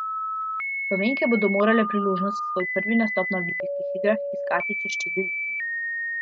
Slovenke bodo morale priložnost za svoj prvi nastop na olimpijskih igrah iskati čez štiri leta.